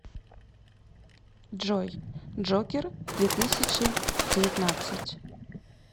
джой джокер две тысячи девятнадцать